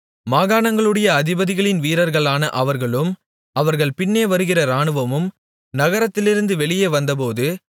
மாகாணங்களுடைய அதிபதிகளின் வீரர்களான அவர்களும் அவர்கள் பின்னே வருகிற இராணுவமும் நகரத்திலிருந்து வெளியே வந்தபோது